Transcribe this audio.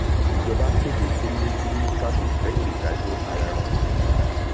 ìjọba kéde kónílé gbélé ní kánò lẹyìn ìdájọ ayaran